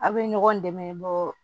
Aw bɛ ɲɔgɔn dɛmɛ bɔ